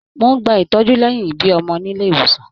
Mó n gbà ìtọjú lẹyìn ibí ọmọ nílé ìwòsàn.